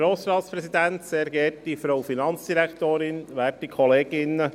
Kommissionspräsident der FiKo.